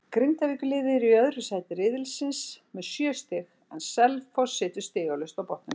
Grindavíkurliðið er í öðru sæti riðilsins með sjö stig en Selfoss situr stigalaust á botninum.